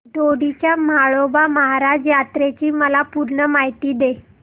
दोडी च्या म्हाळोबा महाराज यात्रेची मला पूर्ण माहिती दे